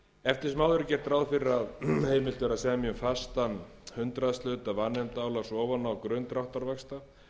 eftir sem áður er gert ráð fyrir að heimilt verði að semja um fastan hundraðshluta vanefndaálags ofan á grunn dráttarvaxta